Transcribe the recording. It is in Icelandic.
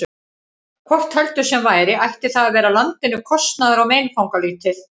Hvort heldur sem væri, ætti það að vera landinu kostnaðar- og meinfangalítið.